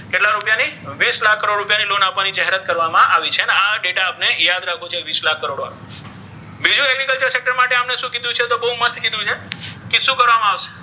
કેટલા રુપિયા ની વીસ લાખ કરોડ રુપિયા ની loan ની જાહેરાત કરવામા આવી છે આ ડેટા આપણે યાદ રાખવો છે વીસ લાખ કરોડ વાળો બીજો આમણે શુ કીધુ છે તો બધુ મસ્ત કીધુ છે કે શુ કરવામા આવશે.